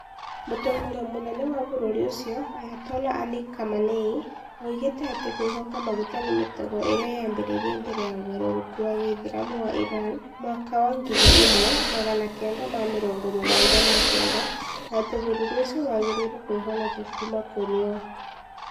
Mũtongoria mũnene wa bũrũri ũcio, Ayatollah Ali Khamenei, oigĩte atĩ kwĩhoka maguta nĩ "mĩtego" ĩrĩa yaambĩrĩirie mbere ya ũgarũrũku wa gĩthiramu wa Iran mwaka wa ngiri imwe magana kenda ma mĩrongo mũgwanja ma kenda na atĩ bũrũri ũcio wagĩrĩirũo kwĩhonokia kuuma kũrĩ yo.